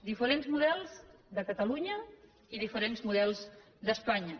diferents models de catalunya i diferents models d’espanya